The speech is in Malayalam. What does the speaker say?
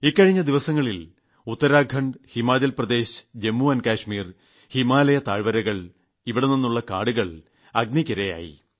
കഴിഞ്ഞ ദിവസങ്ങളിൽ ഉത്തരാഖണ്ഡ് ഹിമാചൽപ്രദേശ് ജമ്മുകാശ്മീർ ഹിമാലയ താഴ്വരകൾ എന്നിവിടങ്ങളിലെ കാടുകൾ അഗ്നിക്കിരയായി